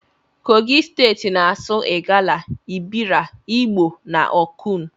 Kogi steti na asụ igala, ebira, igbo na okun.